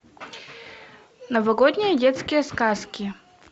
новогодние детские сказки